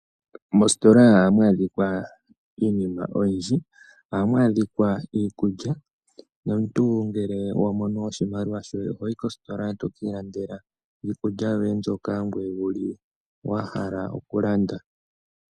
Moositola ohamu adhika iinima oyindji ohamu adhika iikulya nomuntu ngele wa mono oshimaliwa shoye ohoyi kositola eto ki landela iikulya yoye mbyoka wuli wa hala oku landa.